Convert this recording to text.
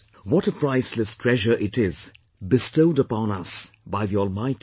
What a priceless treasure it is bestowed upon us by the Almighty